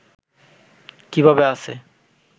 কীভাবে আছে